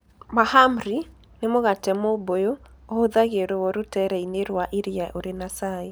Mahamri, nĩ mũgate mũbũyũ, ũhũthagĩrũo rũtere-inĩ rwa iria ũrĩ na cai.